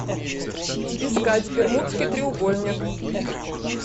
искать бермудский треугольник